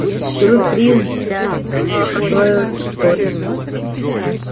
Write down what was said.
сюрприз для него готовят что ли